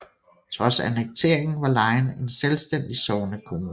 Trods annekteringen var Lyne en selvstændig sognekommune